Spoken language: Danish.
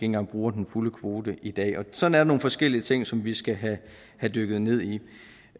engang bruger den fulde kvote i dag og sådan er forskellige ting som vi skal have dykket ned i